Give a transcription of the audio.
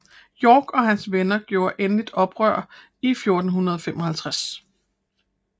York og hans venner gjorde endelig åbent oprør i 1455